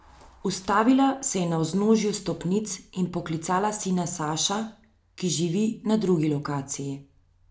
Ustavila se je na vznožju stopnic in poklicala sina Saša, ki živi na drugi lokaciji.